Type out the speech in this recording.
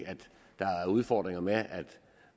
der er udfordringer med at